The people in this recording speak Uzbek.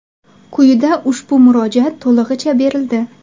Quyida ushbu murojaat to‘lig‘icha berildi.